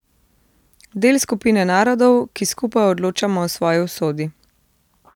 Del skupine narodov, ki skupaj odločamo o svoji usodi.